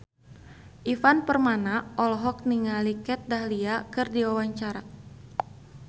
Ivan Permana olohok ningali Kat Dahlia keur diwawancara